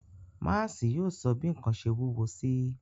Máási yóò sọ bi nkan ṣe wuwo si.